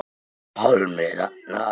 Pálmi Ragnar.